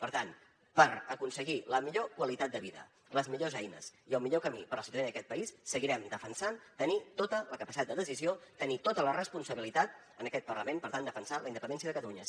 per tant per aconseguir la millor qualitat de vida les millors eines i el millor camí per a la ciutadania d’aquest país seguirem defensant tenir tota la capacitat de decisió tenir tota la responsabilitat en aquest parlament per tant defensant la independència de catalunya